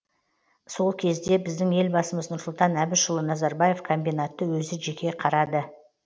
сол кезде біздің елбасымыз нұрсұлтан әбішұлы назарбаев комбинатты өзі жеке қарады